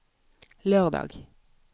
lørdag